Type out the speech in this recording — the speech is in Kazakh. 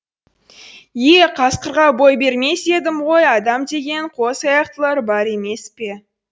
е қасқырға бой бермес едім ғой адам деген қос аяқтылар бар емес пе